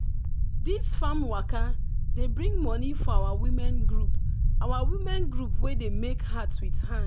this farm waka dey bring money for our women group our women group wey dey make hat with hand.